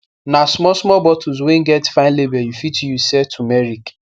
na small small bottles wey get fine label u fit use sell tumeric